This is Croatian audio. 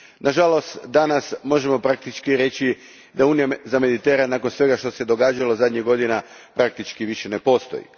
Nažalost, danas možemo reći da Unija za Mediteran, nakon svega što se događalo zadnjih godina, praktički više ne postoji.